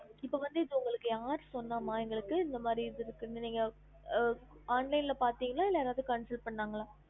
இப்ப வந்து இது உங்களுக்கு யாரு சொன்னா மா உங்களுக்கு இந்த மாதிரி இது இருக்குனு நீங்க ஆஹ் online ல பாத்திங்கலா இல்ல யாராச்சும் consult பன்னாங்களா